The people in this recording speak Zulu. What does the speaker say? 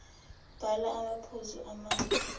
bhala amaphuzu amane